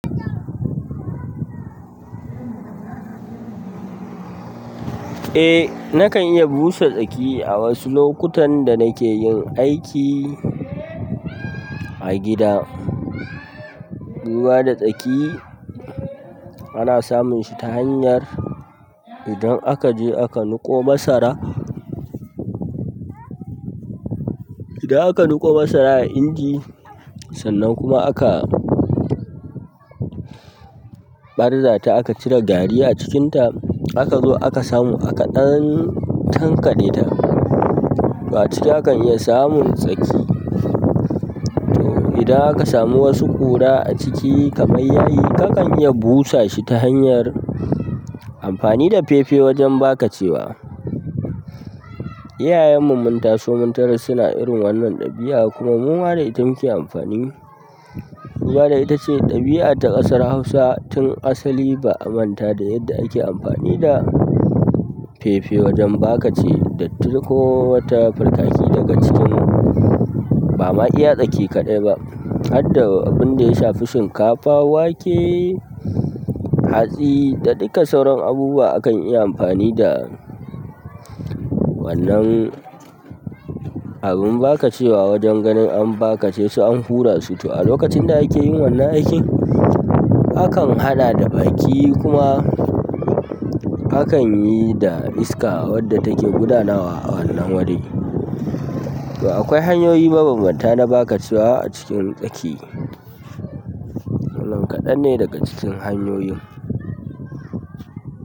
Eh na kan iya busa tsaki a wasu lokutan da nake yin aiki a gida. Ruwa da tsaki ana samun shi ta hanyar idan aka je aka nuko masara, idan aka nuƙo masara a inji sannan kuma aka ɓarza ta aka cire gari a cikin ta aka zo aka samu aka ɗan tankaɗe ta, to aciki akan iya samun tsaki. To idan aka samu wasu ƙura a ciki kamar yayi ka kan iya busa shi ta hanyar amfani da fefe wajen bakacewa. Iyayen mu mun taso mun tarar suna irin wannan ɗabi'a kuma muma da ita mu ke amfani. Ruwa dai ita ce ɗabi'a ta ƙasar Hausa tun asali ba'a manta da yadda ake amfani da feel wajen bakace datti ko wata birkaki cikin ba ma iya tsaki kaɗai ba, har da abinda ya shafi shinkafa, wake, hatsi da dukka sauran abubuwa akan iya amfani da wannan abin bakacewa wajen ganin an bakace su an hura su. To a lokacin da ake yin wannan aikin akan haɗa da baki kuma akan yi da iska wadda take gudana a wannan wuri. To akwai hanyoyi mabanbanta na bakacewa a cikin tsaki. Wannan kaɗan ne daga cikin hanyoyin.